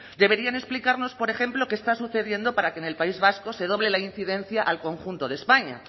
deberían explicarnos por ejemplo qué está sucediendo para que en el país vasco se doble la incidencia al conjunto de españa